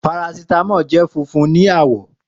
Parasítámọ̀ jẹ́ funfun ní àwọ̀